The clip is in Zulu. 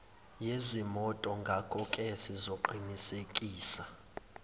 yezimoto ngakoke sizoqinisekisa